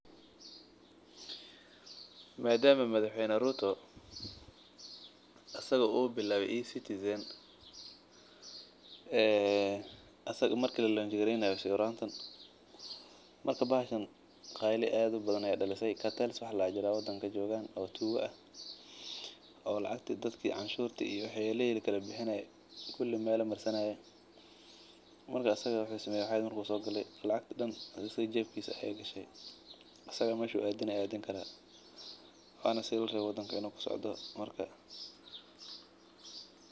Madama madax weynaha uu isaga bilaabe ecitizan bahashan qayli badan ayeey daliso dad tuuga ayaa jiraan oo lacagta jeebka gashtaan lakin asaga ayaa wixi gudi qaate waana sii larabe.